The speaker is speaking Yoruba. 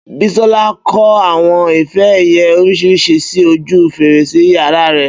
Bísọ́lá kò àwọn ife ẹ̀yẹ oríṣiríṣi sí ojú fèrèsé yàrá rẹ̀